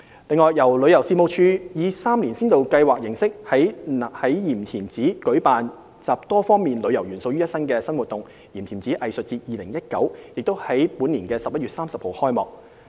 此外，由旅遊事務署以3年先導計劃形式，於鹽田梓舉辦集多方面旅遊元素於一身的新活動"鹽田梓藝術節 2019"， 已於本年11月30日開幕。